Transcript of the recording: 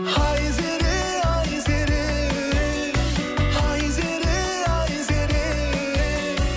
айзере айзере айзере айзере